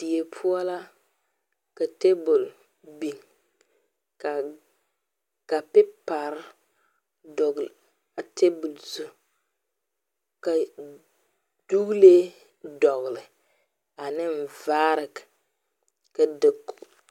Die poʊ la ka tabul biŋ kar ka pepaar dogle a tabul zu. Ka duglee dogle ane vaare ka dakoge